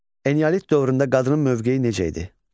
Eneolit dövründə qadının mövqeyi necə idi?